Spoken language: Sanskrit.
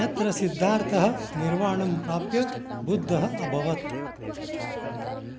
यत्र सिद्धार्थः निर्वाणं प्राप्य बुद्धः अभवत्